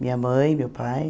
Minha mãe, meu pai.